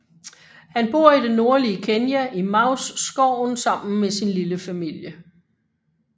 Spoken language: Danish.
Han bor i det nordlige Kenya i Mauskoven sammen med sin lille familie